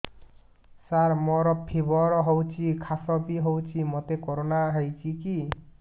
ସାର ମୋର ଫିବର ହଉଚି ଖାସ ବି ହଉଚି ମୋତେ କରୋନା ହେଇଚି କି